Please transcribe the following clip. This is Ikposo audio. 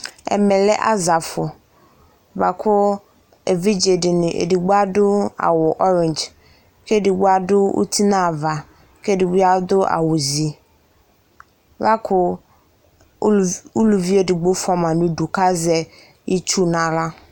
Ɛmɛ lɛ azafʋ bʋa kʋ evidze dɩnɩ edigbo adʋ awʋ orɛdze kʋ edigbo adʋ awʋ uti nʋ ava, kʋ ɛdɩ bɩ adʋ awʋzi, la kʋ uluvi edigbo fʋa ma nʋ udu kʋ azɛ itsu nʋ aɣla